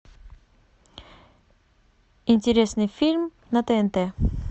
интересный фильм на тнт